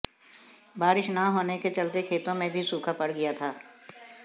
बारिश न होने के चलते खेतों में भी सूखा पड़ गया था